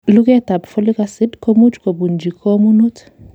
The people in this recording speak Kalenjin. Luguetab folic acid komuch kobunji komonut.